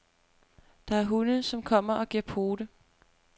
Der er hunde, som kommer og giver pote.